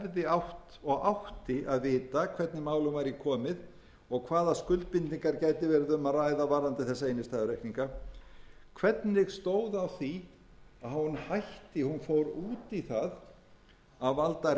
hefði átt og átti að vita hvernig málum væri komið og hvaða skuldbindingar gæti verið um að ræða varðandi þessa innstæðureikninga hvernig stóð á því að hún hætti hún fór út í það að valda